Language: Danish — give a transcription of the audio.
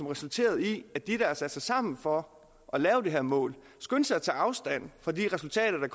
resulterede i at de der havde sat sig sammen for at lave det her mål skyndte sig at tage afstand fra de resultater der